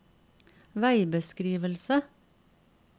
veibeskrivelse